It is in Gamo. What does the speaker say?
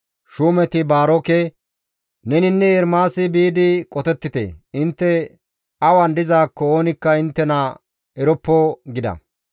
Shuumeti Baaroke, «Neninne Ermaasi biidi qotettite; intte awan dizaakko oonikka inttena eroppo» gida.